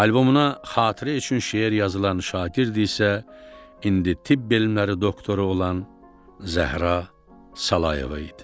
Albomuna xatirə üçün şeir yazılan şagird isə indi tibb elmləri doktoru olan Zəhra Salayeva idi.